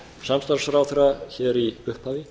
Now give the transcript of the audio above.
samstarfsráðherra hér í upphafi